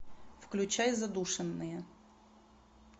включай задушенные